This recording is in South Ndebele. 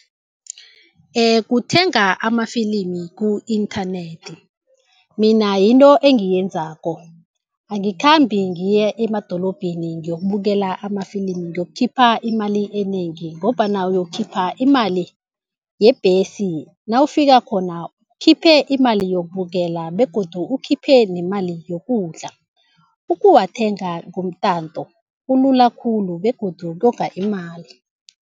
Kuthenga amafilimi ku-inthanethi mina yinto engiyenzako. Angikhambi ngiye emadorobheni ngiyokubukela amafilimu ngiyokukhipha imali enengi ngombana uyokukhipha imali yebhesi, nawufika khona ukhiphe imali yokubukela begodu ukhiphe nemali yokudla. Ukuwathenga ngomtato kulula khulu begodu konga imali.